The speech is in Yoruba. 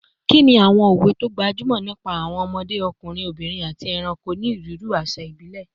Kí ni àwọn òwe tó gbajúmọ̀ nípa àwọn ọmọdé, ọkùnrin, obìnrin, àti ẹranko ní onírúurú àṣà ìbílẹ̀?